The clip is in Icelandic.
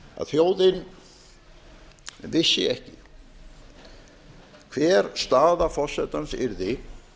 að þjóðin vissi ekki hver staða forsetans yrði